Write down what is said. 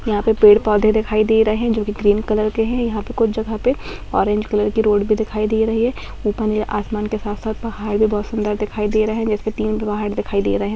यहाँ पे पेड़-पौधे दिखाई दे रहे हैं जो कि ग्रीन कलर के हैं यहाँ पे कुछ जगह पे ऑरेंज कलर की रोड भी दिखाई दे रही हैं ऊपर यह आसमान के साथ-साथ पहाड़ भी बहुत सुंदर दिखाई दे रहें जैसे तीन पहाड़ दिखाई दे रहे हैं।